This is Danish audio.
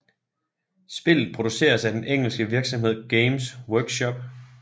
Spillet produceres af den engelske virksomhed Games Workshop